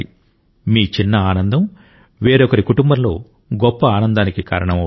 మీ చిన్న ఆనందం వేరొకరి కుటుంబంలో గొప్ప ఆనందానికి కారణం అవుతుంది